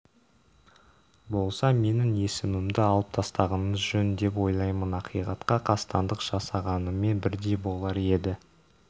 болса менің есімімді алып тастағаныңыз жөн деп ойлаймын ақиқатқа қастандық жасағанымен бірдей болар еді